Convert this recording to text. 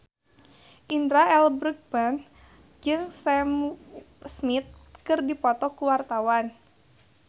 Indra L. Bruggman jeung Sam Smith keur dipoto ku wartawan